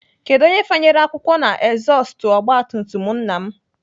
Kedụ onye fanyere akwụkwọ na ezọstụ ogbatumtum nna m?